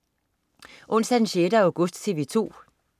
Onsdag den 6. august - TV 2: